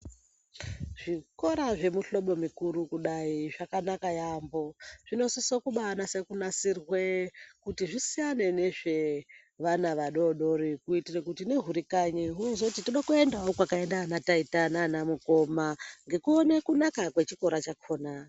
Zvikora zvemihlobo mikuru kudai zvakanaka yambo zvinosisa kuva nasirwe kuti zvisiyane nezvevana vadodori kuitira kuti nehuri kanyi hunozoti toda kuendawo kwakaenda ana taita nana mukoma ngekuona kunaka kwechikora chakona.